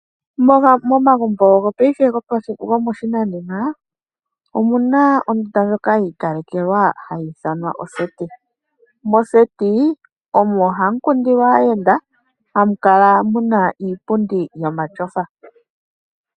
Momagumbo gopaife gomoshinanena omuna ondunda ndjoka yi ikalekelwa hayi ithanwa oseti. Moseti omo hamu kundilwa aayenda, hamu kala muna iipundi yomatyofa.